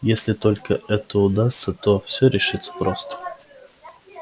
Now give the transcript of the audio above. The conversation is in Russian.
если только это удастся то все решится просто